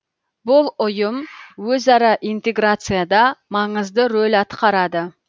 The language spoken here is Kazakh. бұл ұйым өзара интеграцияда маңызды рөл атқарады